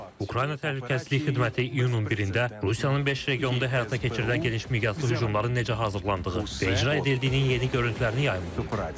Ukrayna təhlükəsizlik xidməti iyunun 1-də Rusiyanın beş regionda həyata keçirilən geniş miqyaslı hücumların necə hazırlandığı və icra edildiyinin yeni görüntülərini yayımlayıb.